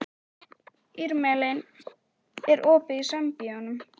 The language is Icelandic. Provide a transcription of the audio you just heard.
Irmelín, er opið í Sambíóunum?